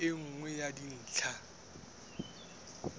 ke e nngwe ya dintlha